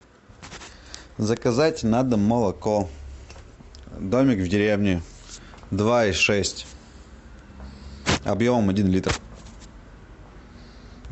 заказать на дом молоко домик в деревне два и шесть объемом один литр